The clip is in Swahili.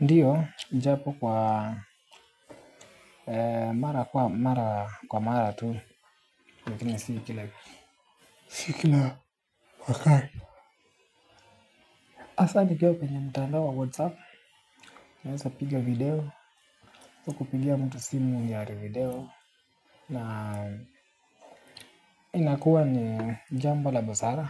Ndio ijapo kwa mara kwa mara tu lakini, si kila wakati. Hasa nikiwa kwenye mtandao wa whatsapp naweza piga video kupigia mtu simu ya video na inakuwa ni jambo la busara